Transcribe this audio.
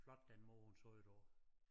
Flot den måde hun sagde det på